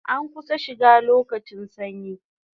An kusan shiga lokacin sanyi